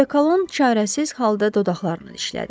Dekalon çarəsiz halda dodaqlarını dişlədi.